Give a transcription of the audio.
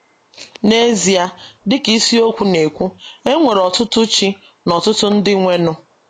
N’ezie, dị ka ịsiokwu na - ekwu, “ e nwere ọtụtụ ‘ chi ’ na ọtụtụ ‘ ndị nwenụ. ’”